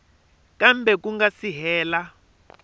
kambe ku nga si hela